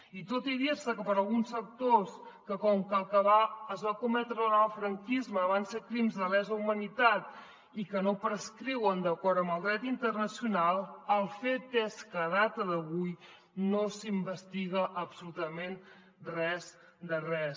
i tot i dir se per alguns sectors que com que el que es va cometre durant el franquisme van ser crims de lesa humanitat i que no prescriuen d’acord amb el dret internacional el fet és que a data d’avui no s’investiga absolutament res de res